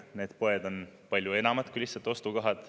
Need poed on palju enamat kui lihtsalt ostukohad.